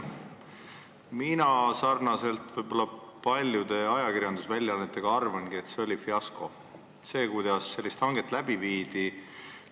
Mina arvan sarnaselt paljude ajakirjandusväljaannetega, et see oli fiasko – see, kuidas sellist hanget läbi viidi.